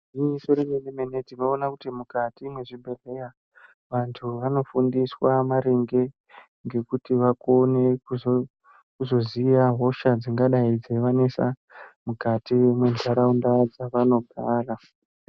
Igwinyiso remene-mene tinoona kuti mukati mwezvibhehleya vantu vanofundiswa maringe ngekuti vakone kuzoziya hosha dzingadayi dzeivanesa mukati mwentaraunda dzavanogara.